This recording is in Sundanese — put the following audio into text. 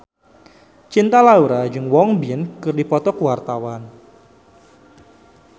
Cinta Laura jeung Won Bin keur dipoto ku wartawan